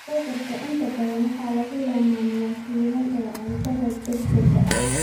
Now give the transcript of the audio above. Burgers inta badan waxaa lagu lammaaniyaa shiilan ee cuntada degdega ah.